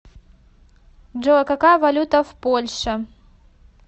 джой какая валюта в польше